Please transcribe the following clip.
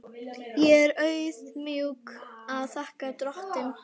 Ég er auðmjúk og þakka drottni.